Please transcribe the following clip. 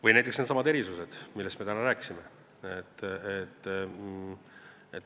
Või näiteks needsamad erandid, millest me täna rääkisime.